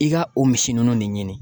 I ka o misi ninnu de ɲini